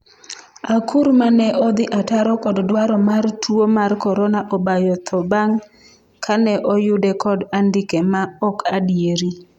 akuru 'mane odhi ataro kod dwaro mar tuo mar korona obayo tho bang' kane oyude kod andike ma ok adieri